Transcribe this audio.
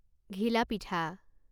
ঘিলা পিঠা